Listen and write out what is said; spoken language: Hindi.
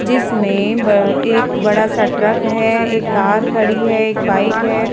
जिसमें एक बड़ा-सा ट्रक है एक कार खड़ी है एक बाइक है।